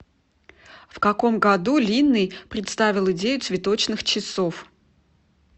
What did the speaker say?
в каком году линней представил идею цветочных часов